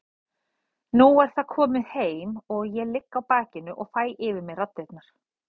Nú er það komið heim og ég ligg á bakinu og fæ yfir mig raddirnar.